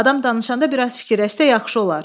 Adam danışanda bir az fikirləşsə yaxşı olar.